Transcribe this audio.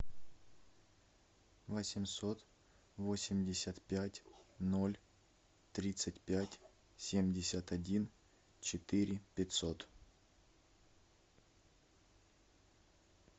восемьсот восемьдесят пять ноль тридцать пять семьдесят один четыре пятьсот